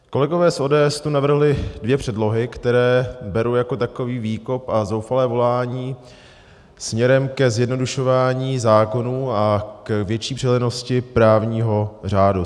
Kolegové z ODS tu navrhli dvě předlohy, které beru jako takový výkop a zoufalé volání směrem ke zjednodušování zákonů a k větší přehlednosti právního řádu.